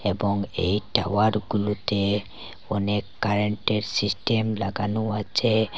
এবং এই টাওয়ারগুলোতে অনেক কারেন্টের সিস্টেম লাগানো আছে।